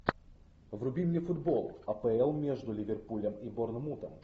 вруби мне футбол апл между ливерпулем и борнмутом